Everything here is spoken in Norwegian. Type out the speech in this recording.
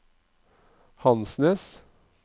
Hansnes